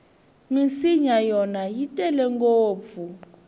minsinya yona i tele ngopfu